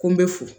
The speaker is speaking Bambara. Ko n bɛ fo